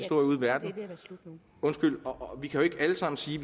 verden undskyld og vi kan jo ikke alle sammen sige